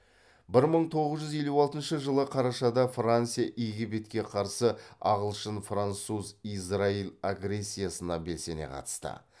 бір мың тоғыз жүз елу алтыншы жылы қарашада франция египетке қарсы ағылшын француз израиль агрессиясына белсене қатысты